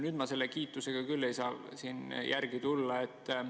Nüüd ma seda kiitust küll ei saa siin.